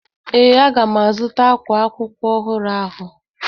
Ee, a ga m azụta ákwá akwụkwọ ọhụrụ ahụ.